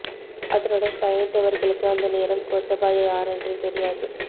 அதனுடன் பயணித்தவர்களுக்கு அந்த நேரம் கோத்தபாய யாரென்றே தெரியாது